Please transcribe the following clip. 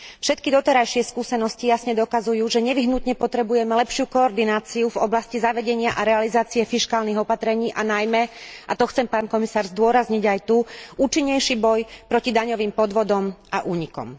Všetky doterajšie skúsenosti jasne dokazujú, že nevyhnutne potrebujeme lepšiu koordináciu v oblasti zavedenia a realizácie fiškálnych opatrení a najmä, a to chcem pán komisár zdôrazniť aj tu, účinnejší boj proti daňovým podvodom a únikom.